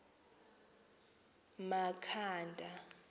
makhanda